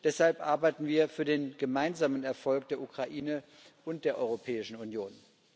Deshalb arbeiten wir für den gemeinsamen Erfolg der Ukraine und der Europäischen Union.